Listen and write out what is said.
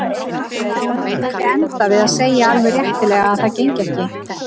Var hún ekki að enda við að segja alveg réttilega að það gengi ekki?